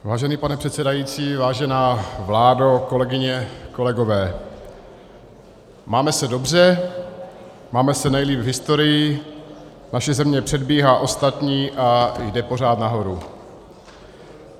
Vážený pane předsedající, vážená vládo, kolegyně, kolegové, máme se dobře, máme se nejlíp v historii, naše země předbíhá ostatní a jde pořád nahoru.